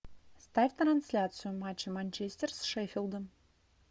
ставь трансляцию матча манчестер с шеффилдом